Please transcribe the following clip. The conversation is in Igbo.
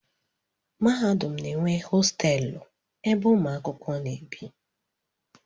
Mahadum na-enwe hostelụ ebe ụmụ akwụkwọ na-ebi.